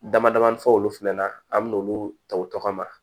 Damadamanin fɔ olu fana na an bɛ n'olu ta u tɔgɔ ma